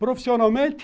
Profissionalmente?